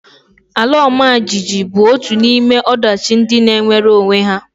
Ala ọmajiji bụ otu n'ime ọdachi ndị na-emere onwe ha